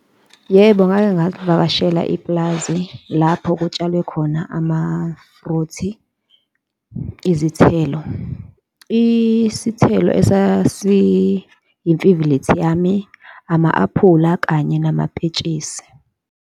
Yebo, ngake ngalivakashela ipulazi lapho kutshalwe khona amafruthi, izithelo. Isithelo esasiyimfivilithi yami, ama-aphula kanye nama mpentshisi.